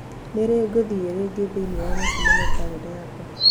Nĩ rĩ ngũthiĩ rĩngĩ thĩinĩ wa mũcemanio kalenda yakwa?